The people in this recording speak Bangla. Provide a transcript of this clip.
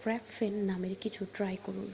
ক্র্যাপফেন নামের কিছু ট্রাই করুন